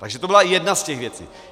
Takže to byla jedna z těch věcí.